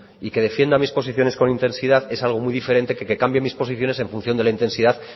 y que defienda mis posiciones con intensidad es algo muy diferente que que cambie mis posiciones en función de la intensidad